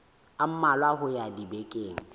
a mmalwa ho ya dibekeng